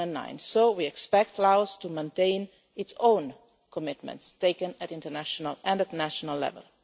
2009. We therefore expect Laos to maintain its own commitments taken at international and national level.